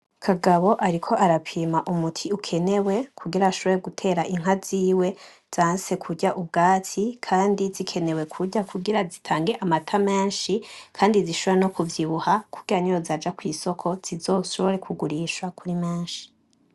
Kagabo ariko arapima umuti ukenewe kugira ashobore gutera inka ziwe zanse kurya ubwatsi kandi zikenewe kurya kugira zitange amata menshi kandi zishobore no kuvyibuha kugira niyo zaja kwisoko zizoshobore kugurisha kuri menshi.